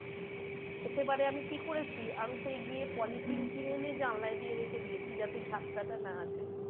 তো সেবারে আমি কি করেছি আমি সেই গিয়ে পলিথিন কিনে এনে জানলায় দিয়ে রেখে দিয়েছি যাতে ঝাপ্টা টা না আসে।